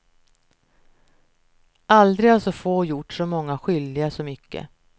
Aldrig har så få gjort så många skyldiga så mycket.